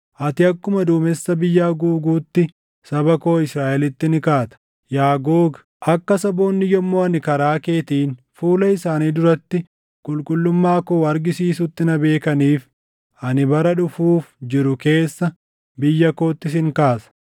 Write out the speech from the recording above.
Ati akkuma duumessa biyya haguuguutti saba koo Israaʼelitti ni kaata. Yaa Googi, akka saboonni yommuu ani karaa keetiin fuula isaanii duratti qulqullummaa koo argisiisutti na beekaniif, ani bara dhufuuf jiru keessa biyya kootti sin kaasa.